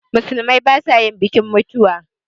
Musulmai ba sa yin bikin mutuwa